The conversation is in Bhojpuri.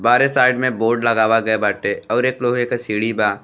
बाहरे साइड में बोर्ड लगावा गई बाटे और एक लोहे के सीढ़ी बा।